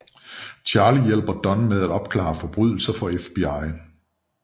Charlie hjælper Don med at opklare forbrydelser for FBI